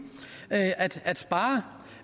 at at spare